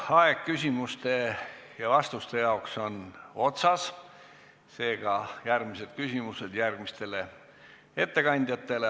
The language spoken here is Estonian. Aeg küsimuste ja vastuste jaoks on otsas, seega järgmised küsimused tulevad juba järgmistele ettekandjatele.